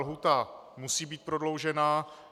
Lhůta musí být prodloužena.